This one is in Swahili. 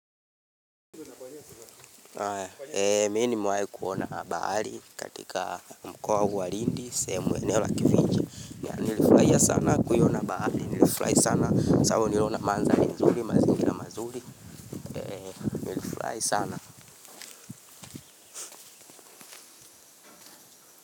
Mimi nimewai kuona bahari katika mkoa huu wa lindi, sehemu eneo la kifinja, nilifurahia sana kuiona bahari nilifurahi sana, sababu niliona manzali nzuri, mazingira mazuri, nilifurahi sana.